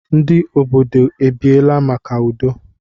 Ndi obodo ebiela maka udo?